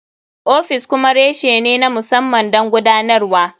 Ofis kuma reshe ne na musamman don gudanarwa.